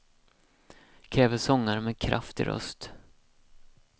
Kräver sångare med kraft i röst.